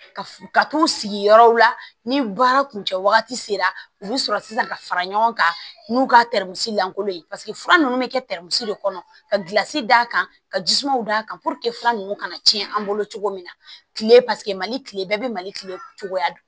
Ka f ka t'u sigi yɔrɔw la ni baara kun cɛ wagati sera u bɛ sɔrɔ sisan ka fara ɲɔgɔn kan n'u ka lankolon ye fura ninnu bɛ kɛ de kɔnɔ ka gilansi d'a kan ka jisumanw d'a kan fura nunnu kana tiɲɛ an bolo cogo min na tile mali tile bɛɛ bɛ mali kile cogoya